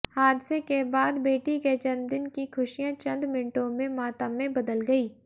हादसे के बाद बेटी के जन्मदिन की खुशियां चंद मिनटों में मातम में बदल गई